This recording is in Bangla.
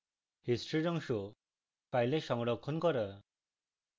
history অংশ file সংরক্ষণ করা